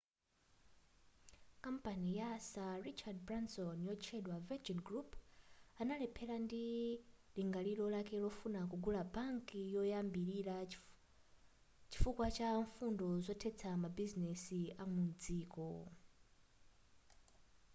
kampani ya sir richard branson yotchedwa virgin group analemphera ndi lingaliro lake lofuna kugula bank koyambilira chifukwa cha mfundo zoteteza mabizinesi amudziko